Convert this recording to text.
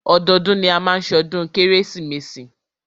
Ọdọọdún ni a máa má ṣọdún kérésìmesì.